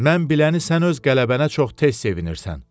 Mən biləni sən öz qələbənə çox tez sevinirsən.